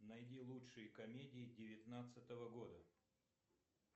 найди лучшие комедии девятнадцатого года